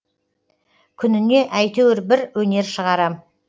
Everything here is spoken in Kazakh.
күніне әйтеуір бір өнер шығарам